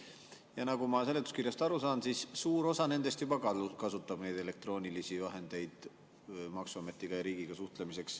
Ja nagu ma seletuskirjast aru saan, siis suur osa nendest juba kasutab sel viisil elektroonilist suhtlemist maksuameti ja riigiga.